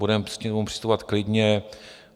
Budeme k němu přistupovat klidně.